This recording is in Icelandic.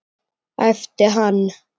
æpti hann.